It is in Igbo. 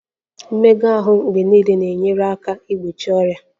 Mmega ahụ mgbe niile na-enyere aka igbochi ọrịa